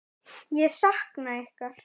Ég sakna ykkar.